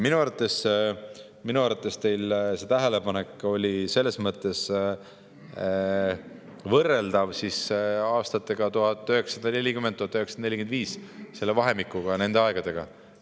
Minu arvates see teie tähelepanek oli võrreldav aastatega 1940–1945, selle vahemikuga, nende aegadega.